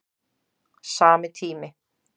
Sami tími